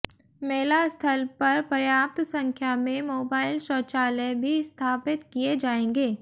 मेला स्थल पर पर्याप्त संख्या में मोबाइल शौचालय भी स्थापित किए जाएंगे